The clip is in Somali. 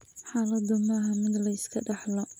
Xaaladdu maaha mid la iska dhaxlo.